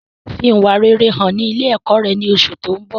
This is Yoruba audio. Fi ìwà rere hàn ní ilé ẹ̀kọ́ rẹ ní oṣù tó ń bọ̀